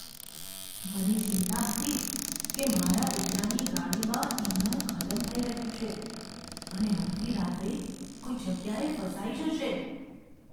મને ચિંતા હતી કે મારા દીકરાની ગાડીમાં ઈંધણ ખતમ થઈ રહ્યું છે અને અડધી રાત્રે કોઈ જગ્યાએ ફસાઈ જશે.